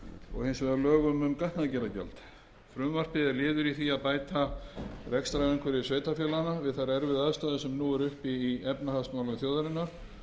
og hins vegar lögum um gatnagerðargjald frumvarpið er liður í því að bæta rekstrarumhverfi sveitarfélaganna við þær erfiðu aðstæður sem nú eru uppi í efnahagsmálum þjóðarinnar